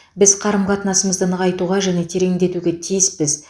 біз қарым қатынасымызды нығайтуға және тереңдетуге тиіспіз